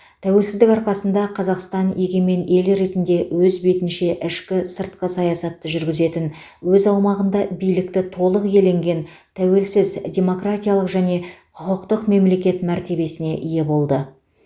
тәуелсіздік арқасында қазақстан егемен ел ретінде өз бетінше ішкі сыртқы саясатты жүргізетін өз аумағында билікті толық иеленген тәуелсіз демократиялық және құқықтық мемлекет мәртебесіне ие болды